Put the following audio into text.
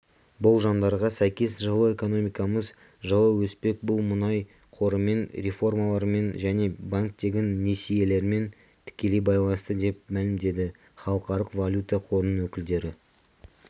болжамдарға сәйкес жылы экономикамыз жылы өспек бұл мұнай қорымен реформалармен және банктегі несиелермен тікелей байланысты деп мәлімдеді халықаралық валюта қорының өкілдері